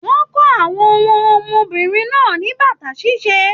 Wọn kọ àwọn wọn ọmọbìnrin náà ní bàtà ṣiṣe.